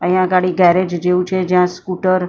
અહીંયા અગાડી ગેરેજ જેવું છે જ્યાં સ્કૂટર સાય--